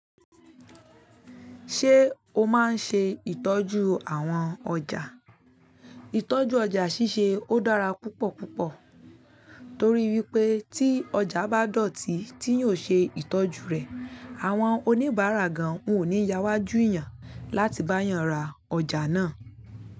Ṣé o máa ń ṣe ìtọ́jú àwọn ọjà? Ìtọ́jú ọjà ṣíṣe ó dára púpọ̀púpọ̀ torí wípé tí ọjà bá dọ̀tí tí yóò ṣe ìtọ́jú rẹ̀, àwọn oníbàárà gan-an ò ní yáwájú ìyàn láti bá yàn ra ọjà náà.